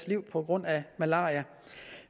livet på grund af malaria